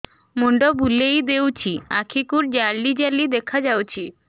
ମୁଣ୍ଡ ବୁଲେଇ ଦେଉଛି ଆଖି କୁ ଜାଲି ଜାଲି ଦେଖା ଯାଉଛି